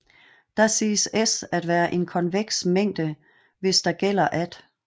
Da siges S at være en konveks mængde hvis der gælder at